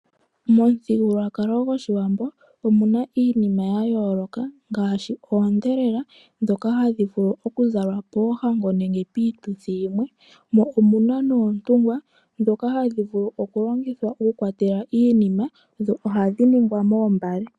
Momuthigululwakalo gOshiwambo omuna iinima ya yooloka ngaashi oodhelela, ndhoka hadhi vulu okuzalwa poohango nenge piituthi yimwe. Mo omuna noontungwa ndhoka hadhi vulu okulongithwa okukwatela iinima, dho ohadhi ningwa moombale.